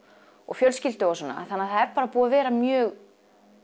og fjölskyldu þannig að það er búið að vera mjög